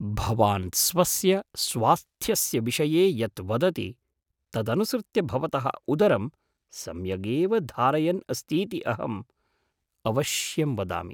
भवान् स्वस्य स्वास्थ्यस्य विषये यत् वदति तदनुसृत्य भवतः उदरं सम्यगेव धारयन् अस्तीति अहम् अवश्यं वदामि।